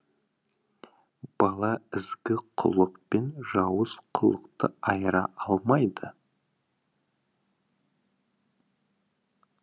бала ізгі құлық пен жауыз құлықты айыра алмайды